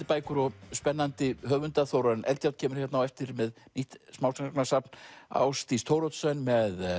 bækur og spennandi höfunda Þórarinn Eldjárn kemur á eftir með nýtt smásagnasafn Ásdís Thoroddsen með